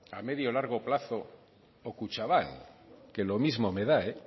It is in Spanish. a medio largo plazo o kutxabank que lo mismo me da